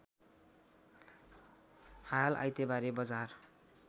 हाल आइतबारे बजार